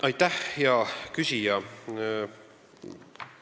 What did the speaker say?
Aitäh, hea küsija!